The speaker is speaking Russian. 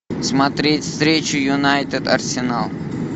смотреть встречу юнайтед арсенал